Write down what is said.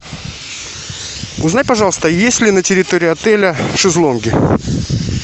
узнай пожалуйста есть ли на территории отеля шезлонги